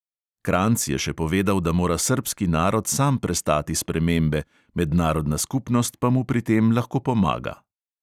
Kranjc je še povedal, da mora srbski narod sam prestati spremembe, mednarodna skupnost pa mu pri tem lahko pomaga.